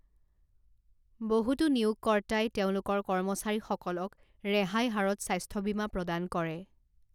বহুতো নিয়োগকৰ্তাই তেওঁলোকৰ কৰ্মচাৰীসকলক ৰেহাই হাৰত স্বাস্থ্য বীমা প্ৰদান কৰে।